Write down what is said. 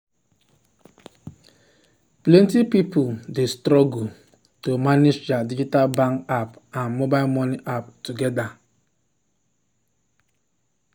plenty people dey struggle people dey struggle to manage their digital bank app and mobile money app together.